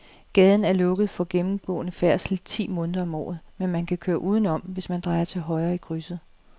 Gaden er lukket for gennemgående færdsel ti måneder om året, men man kan køre udenom, hvis man drejer til højre i krydset.